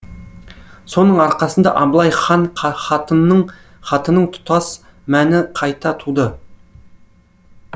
соның арқасында абылай хан хатының тұтас мәтіні қайта туды